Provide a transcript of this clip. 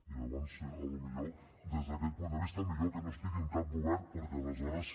i llavors potser des d’aquest punt de vista millor que no estigui en cap govern perquè aleshores